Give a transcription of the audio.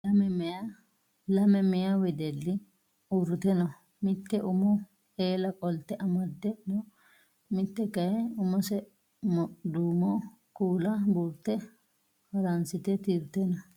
Leme meyaa wedelli uurtite no. Mitte umo eela qolte amadde no. Mitte kayii umose duumo kuula buurte haransite tirte no.